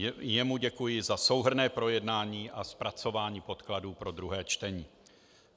Jemu děkuji za souhrnné projednání a zpracování podkladů pro druhé čtení.